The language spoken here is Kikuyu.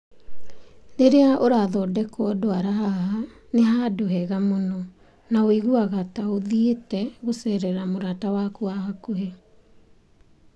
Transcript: Rĩrĩa ũrathondekwo ndwara haha, nĩ handũ hega mũno, na ũiguaga ta ũthiĩte gũceerera mũrata waku wa hakuhĩ.